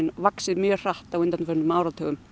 vaxið mjög hratt á undanförnum áratugum